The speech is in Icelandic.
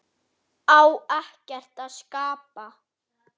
Kvíðirðu þessu?